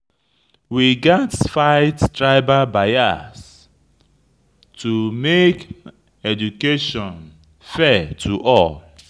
We gats fight against tribal bias to make education fair for all.